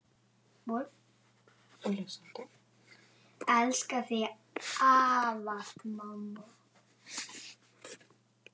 Elska þig ávallt mamma.